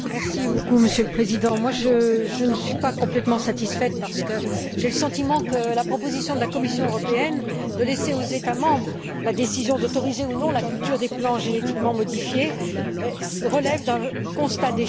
Monsieur le Président, je ne suis pas complètement satisfaite parce que j'ai le sentiment que la proposition de la Commission européenne de laisser aux États membres la décision d'autoriser ou non la culture des plants génétiquement modifiés relève d'un constat d'échec.